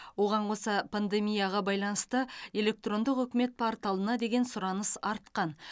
оған қоса пандемияға байланысты электрондық үкімет порталына деген сұраныс артқан